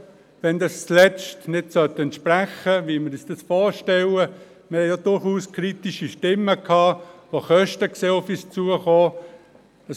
Wenn das am Ende nicht dem entsprechen sollte, was wir uns vorstellen … Wir haben auch durchaus kritische Stimmen gehört, die Kosten auf uns zukommen sehen.